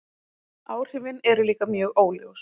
Áhrifin eru líka mjög óljós.